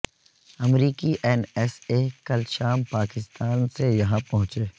امریکی N S A کل شام پاکستان سے یہاں پہنچے